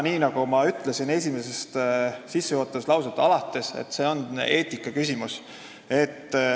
Nagu ma ütlesin juba sissejuhatuses, see on eetikaküsimus.